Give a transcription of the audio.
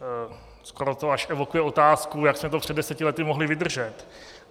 Skoro to až evokuje otázku, jak jsme to před deseti lety mohli vydržet.